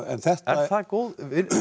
það góð